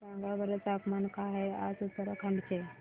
सांगा बरं तापमान काय आहे आज उत्तराखंड चे